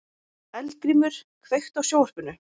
Eldgrímur, kveiktu á sjónvarpinu.